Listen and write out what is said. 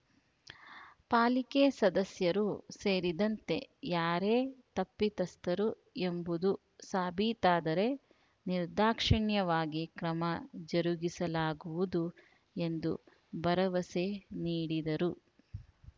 ಪಾಲಿಕೆ ಸದಸ್ಯರು ಸೇರಿದಂತೆ ಯಾರೇ ತಪ್ಪಿತಸ್ಥರು ಎಂಬುದು ಸಾಬೀತಾದರೆ ನಿರ್ದಾಕ್ಷಣ್ಯವಾಗಿ ಕ್ರಮ ಜರುಗಿಸಲಾಗುವುದು ಎಂದು ಭರವಸೆ ನಿಡಿದರು